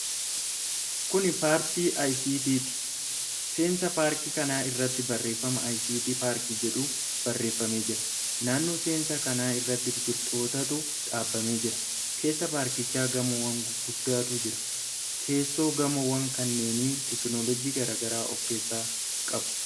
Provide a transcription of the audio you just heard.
Kun Paartii ICT'ti. Seensa paarkii kanaa irratti barreeffama 'ICT PARK' jedhu barreeffamee jira. Naannoo seensa kanaa irratti biqiltootatu dhaabamee jira. Keessa paarkichaa gamoowwan guguddaatu jira. Keessoon gamoowwan kanneenii teekinooloojii garaa garaa of keessaa qabu.